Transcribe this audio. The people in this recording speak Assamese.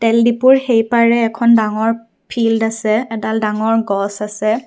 তেল দিপুৰ সেইপাৰে এখন ডাঙৰ ফিল্ড আছে এডাল ডাঙৰ গছ আছে।